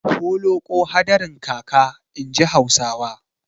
Holoƙo hadarin kaka, inji Hausawa.